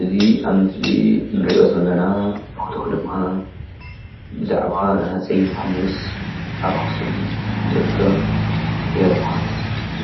እዚ ኣብ ምስሊ እንሪኦ ዘለና ፎቶ ድማ ብዛዕባ ናይ ሃፀይ የውሃንስ ኣብ ኣክሱም ዝርከብ ኤርፖርት